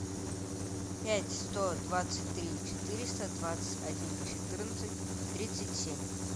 пять сто двадцать три четыреста двадцать один четырнадцать тридцать семь